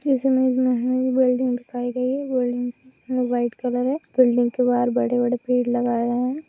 इस इमेज में हमे बिल्डिंग दिखाई गयी है। बिल्डिंग में व्हाइट कलर है। बिल्डिंग के बाहर बड़े-बड़े पेड़ लगाए गए है।